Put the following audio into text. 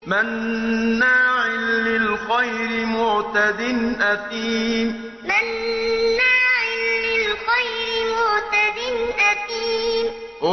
مَّنَّاعٍ لِّلْخَيْرِ مُعْتَدٍ أَثِيمٍ مَّنَّاعٍ لِّلْخَيْرِ مُعْتَدٍ أَثِيمٍ